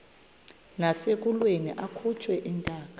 nasekulweni akhutshwe intaka